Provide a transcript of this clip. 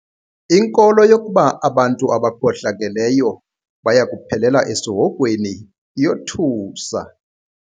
Inkolo yokuba abantu abakhohlakeleyo baya kuphelela esihogweni iyothusa.